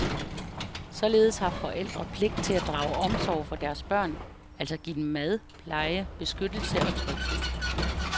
Således har forældre pligt til at drage omsorg for deres børn, altså give dem mad, pleje, beskyttelse og tryghed.